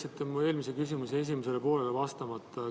Te jätsite mu eelmise küsimuse esimesele poolele vastamata.